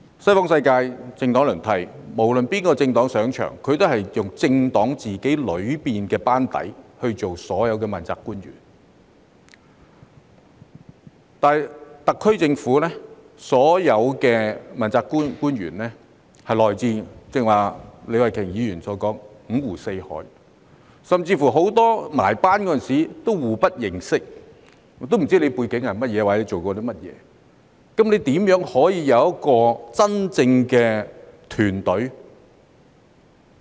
西方世界政黨輪替，無論哪個政黨上場，都是由自己政黨的班底當所有的問責官員，但特區政府的所有問責官員，正如李慧琼議員剛才所說，來自五湖四海，甚至籌組班子時很多人互不認識，不知道對方有甚麼背景或做過甚麼，那麼如何可以有一個真正的團隊？